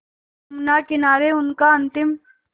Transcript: यमुना किनारे उनका अंतिम